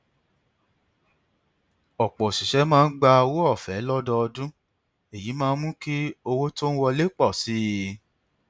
ọpọ òṣìṣẹ máa ń gba owó ọfẹ lọdọọdún èyí máa ń mú kí owó tó ń wọlé pọ sí i